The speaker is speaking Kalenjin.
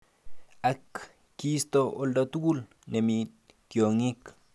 Ak kisto oldatugul nemi tiong'ik.